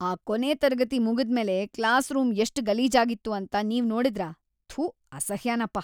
ಆ ಕೊನೆ ತರಗತಿ ಮುಗುದ್ಮೇಲೆ ಕ್ಲಾಸ್‌ರೂಂ ಎಷ್ಟ್ ಗಲೀಜಾಗಿತ್ತು ಅಂತ ನೀವ್ ನೋಡಿದ್ರಾ? ಥೂ, ಅಸಹ್ಯನಪ.